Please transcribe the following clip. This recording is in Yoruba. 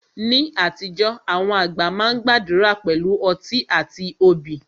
Ní àtijọ́, àwọn àgbà wá máa ń gbàdúrà pẹ̀lú ọtí àti obì